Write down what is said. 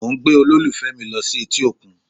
Mo ń gbé olólùfẹ́ mi lọ sí etí òkun